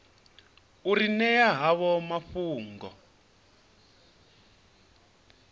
u ri ṅea havho mafhungo